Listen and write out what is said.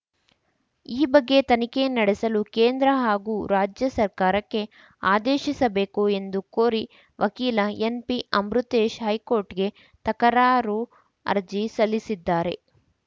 ಈ ಬಗ್ಗೆ ತನಿಖೆ ನಡೆಸಲು ಕೇಂದ್ರ ಹಾಗೂ ರಾಜ್ಯ ಸರ್ಕಾರಕ್ಕೆ ಆದೇಶಿಸಬೇಕು ಎಂದು ಕೋರಿ ವಕೀಲ ಎನ್‌ಪಿಅಮೃತೇಶ್‌ ಹೈಕೋರ್ಟ್‌ಗೆ ತಕರಾರು ಅರ್ಜಿ ಸಲ್ಲಿಸಿದ್ದಾರೆ